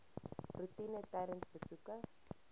roetine tydens besoeke